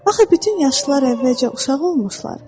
Axı bütün yaşlılar əvvəlcə uşaq olmuşlar.